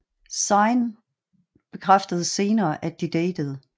Zayn bekræftede senere at de datede